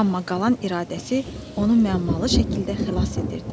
Amma qalan iradəsi onu məmmalı şəkildə xilas edirdi.